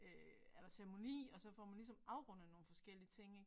Øh er der ceremoni og så får man ligesom afrundet nogle forskellige ting ik